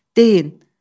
Deyin!